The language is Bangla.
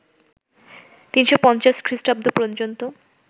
৩৫০ খ্রিষ্টাব্দ পর্যন্ত